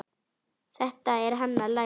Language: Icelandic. Þetta er hann að læra!